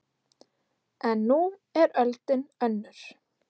En nú er öldin önnur